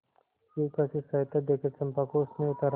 शिविका से सहायता देकर चंपा को उसने उतारा